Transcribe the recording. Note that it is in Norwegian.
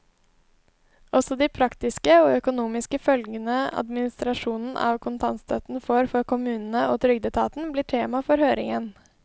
Også de praktiske og økonomiske følgene administrasjonen av kontantstøtten får for kommunene og trygdeetaten, blir tema for høringen.